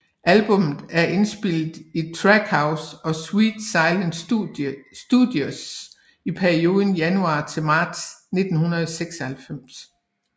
Albummet er indspillet i Track House og Sweet Silence Studios i perioden januar til marts 1996